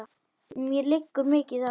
Mér liggur mikið á!